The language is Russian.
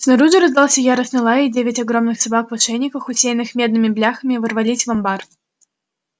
снаружи раздался яростный лай и девять огромных собак в ошейниках усеянных медными бляхами ворвались в амбар